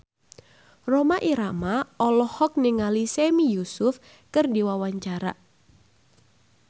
Rhoma Irama olohok ningali Sami Yusuf keur diwawancara